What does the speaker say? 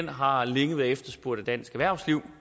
har længe været efterspurgt af dansk erhvervsliv